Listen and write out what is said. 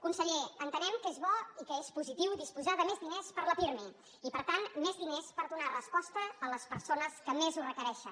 conseller entenem que és bo i que és positiu disposar de més diners per al pirmi i per tant més diners per donar resposta a les persones que més ho requereixen